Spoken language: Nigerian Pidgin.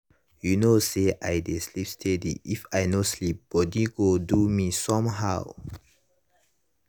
you know say i dey sleep steady if i no sleep body go do me some how.